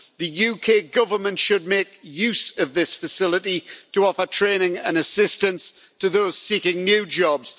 The UK Government should make use of this facility to offer training and assistance to those seeking new jobs.